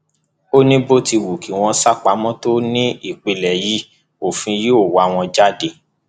ó ní bó ti wù kí wọn sá pamọ tó nípínlẹ yìí òfin yóò wà wọn jáde